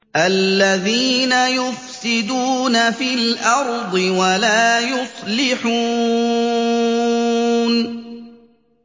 الَّذِينَ يُفْسِدُونَ فِي الْأَرْضِ وَلَا يُصْلِحُونَ